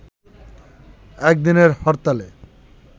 একদিনের হরতালে